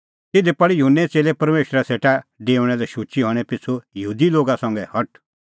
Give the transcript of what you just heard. तिधी पल़ी युहन्ने च़ेल्लै परमेशरा सेटा डेऊणा लै शुचै हणैं पिछ़ू यहूदी लोगा संघै हठ